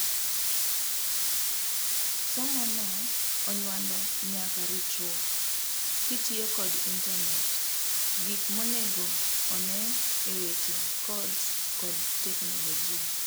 Somono onyuando nyaka ritruok kitiyo kod internate, gik monego on'ee eweche codes kod teknologia.